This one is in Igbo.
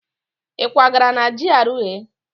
Ị kwagara na GRA?